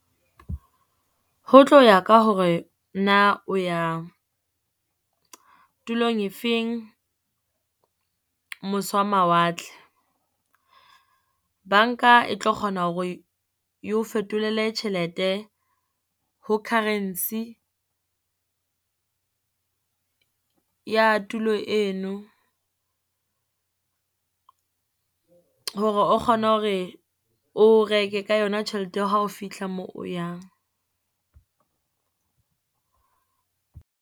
Ho tlo ya ka hore na o ya tulong efeng, mose wa mawatle. Banka e tlo kgona hore eo fetolele tjhelete ho currency ya tulo eno, hore o kgone hore o reke ka yona tjhelete ya ha o fitlha mo o yang.